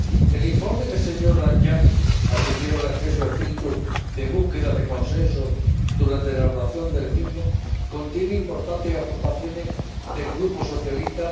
El informe del señor Danjean —al que quiero agradecer su espíritu de búsqueda de consenso durante la elaboración del mismo— contiene importantes aportaciones del Grupo SD.